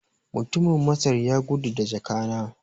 Mutumin Masar ya gudu da jaka na